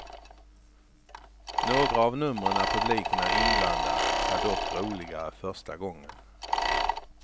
Några av numren där publiken är inblandad är dock roligare första gången.